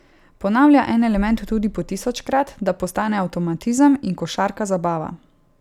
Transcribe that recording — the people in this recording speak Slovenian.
Ponavlja en element tudi po tisočkrat, da postane avtomatizem in košarka zabava.